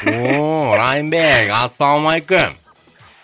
ооо райымбек ассаламуалейкум